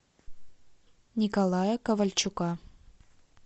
николая ковальчука